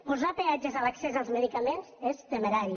posar peatges a l’accés als medicaments és temerari